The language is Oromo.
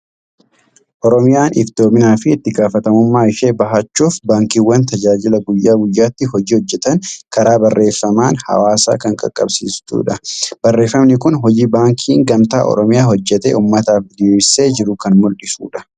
Oromiyaan iftoominaa fi itti gaafatamummaa ishee bahachuuf, baankiiwwan tajaajila guyyaa guyyaatti hojii hojjetan karaa barreeffamaan hawaasa kan qaqqabsiistudha. Barreeffamni kun hojii baankiin Gamtaa Oromiyaa hojjetee uummataaf diriirsee jiru kan mul'isudha.